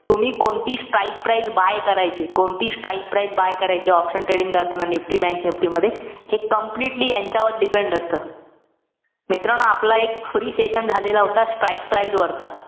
तुम्ही कोणती strike price buy करायचीय. कोणती strike price buy करायचीय, option trading करताना, NIFTY bankNIFTY मध्ये. हे totally ह्यांच्यावर depend असतं. मित्रांनो, आपला एक free session झालेला होता, strike price वरचा.